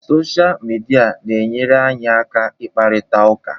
Sọsha mịdia na-enyere anyị aka ịkparịta ụka.